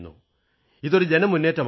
ഇതൊരു ജനമുന്നേറ്റമാകണം